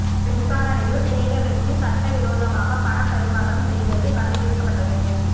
விசாரணையில் சேகர் ரெட்டி சட்ட விரோதமாக பண பரிமாற்றம் செய்தது கண்டு பிடிக்கப்பட்டது